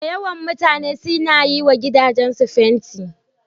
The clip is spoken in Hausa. Da yawan mutane suna yi wa gidajensu fanti.